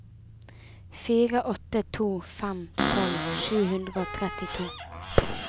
fire åtte to fem tolv sju hundre og trettito